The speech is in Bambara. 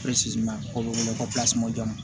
o bɛ wele ko joona